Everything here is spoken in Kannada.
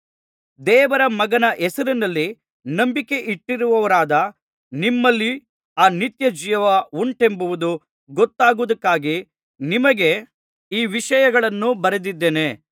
ದೇವರ ಮಗನ ಹೆಸರಿನಲ್ಲಿ ನಂಬಿಕೆಯಿಟ್ಟಿರುವವರಾದ ನಿಮ್ಮಲ್ಲಿ ಆ ನಿತ್ಯಜೀವ ಉಂಟೆಂಬುದು ಗೊತ್ತಾಗುವುದಕ್ಕಾಗಿ ನಿಮಗೆ ಈ ವಿಷಯಗಳನ್ನು ಬರೆದಿದ್ದೇನೆ